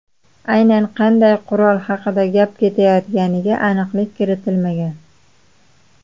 Aynan qanday qurol haqida gap ketayotganiga aniqlik kiritmagan.